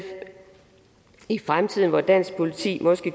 i fremtiden hvor dansk politi måske